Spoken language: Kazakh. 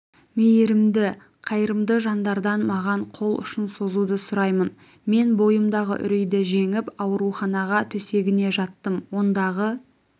мейірімді қайырымды жандардан маған қол ұшын созуды сұраймын мен бойымдағы үрейді жеңіп ауруханаға төсегіне жаттым ондағы